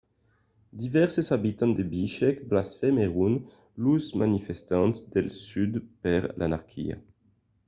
divèrses abitants de bishkek blasmèron los manifestants del sud per l'anarquia